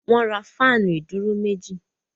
Wọ́n ra fáànù ìdúró méjì.